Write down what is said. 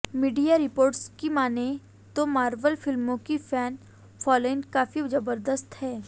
media reports की मानें तो मार्वल फिल्मों की फैन फॉलोइंग काफी जबरदस्त है